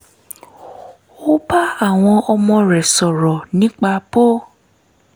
ó bá àwọn ọmọ rẹ̀ sọ̀rọ̀ nípa bó